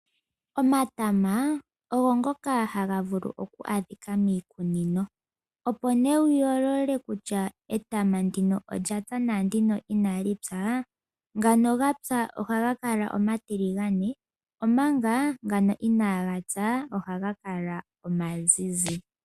Omatama ogo ngoka haga vulu oku adhika miikunino. Opo nee wu yoolole kutya etama ndino olya pya naandino inali pya . Ngano ga pya ohaga kala omatiligane omanga ngano inaaga pya ohaga kala omazizi.